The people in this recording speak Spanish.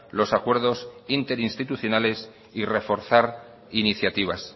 los acuerdos interinstitucionales y reforzar iniciativas